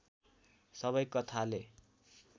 सबै कथाले